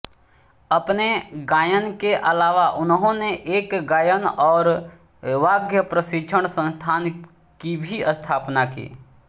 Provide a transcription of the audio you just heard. अपने गायन के अलावा उन्होंने एक गायन और वाद्य प्रशिक्षण संस्थान की भी स्थापना की